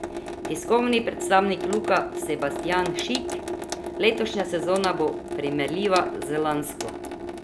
Tiskovni predstavnik Luke Sebastjan Šik: 'Letošnja sezona bo primerljiva z lansko.